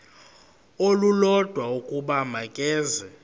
olulodwa ukuba makeze